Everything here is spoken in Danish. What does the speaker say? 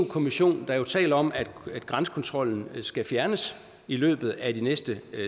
kommission der taler om at grænsekontrollen skal fjernes i løbet af de næste